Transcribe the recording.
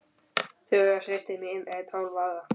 Þura systir mín er tólf ára.